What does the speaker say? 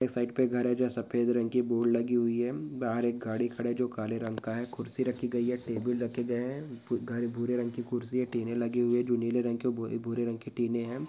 एक साइड पे घर है जो सफ़ेद रंग की बोर्ड लगी हुई है। बहार एक गाडी खड़ा है जो काले रंग का है खुर्सी रखी गयी है टेबल रखे गए हैं ब घर भूरे रंग की खुर्सी है टिन े लगी हुई है जो नील रंग भू भूरे रंग की टिन े है।